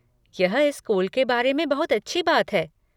यह इस स्कूल के बारे में बहुत अच्छी बात है।